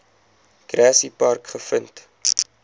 grassy park gevind